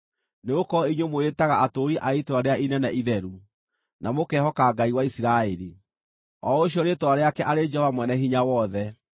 nĩgũkorwo inyuĩ mwĩĩtaga atũũri a itũũra rĩrĩa inene itheru, na mũkehoka Ngai wa Isiraeli, o ũcio rĩĩtwa rĩake arĩ Jehova Mwene-Hinya-Wothe: